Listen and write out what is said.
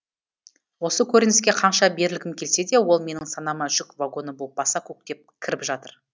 осы көрініске қанша берілгім келсе де ол менің санама жүк вагоны болып баса көктеп кіріп жатыр